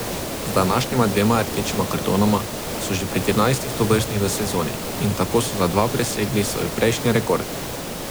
Z današnjima dvema rdečima kartonoma so že pri trinajstih tovrstnih v sezoni in tako so za dva presegli svoj prejšnji rekord.